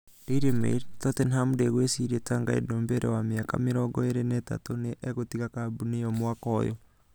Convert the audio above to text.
(Daily Mail) Tottenham ndĩgwĩciria Tanguy Ndombele, wa mĩaka 23, nĩ egũtiga kambuni ĩyo mwaka ũyũ.